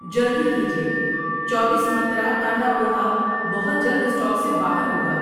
جلدی کیجیے، چوبیس منترا کاندا پوہا بہت جلد اسٹاک سے باہر ہوگا۔